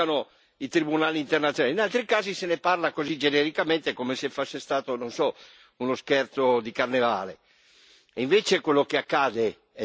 In certi casi sono gravissimi e si invocano i tribunali internazionali, in altri casi se ne parla così genericamente come se fosse stato, non so, uno scherzo di carnevale.